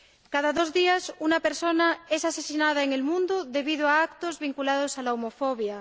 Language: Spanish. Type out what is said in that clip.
Cada dos días, una persona es asesinada en el mundo debido a actos vinculados a la homofobia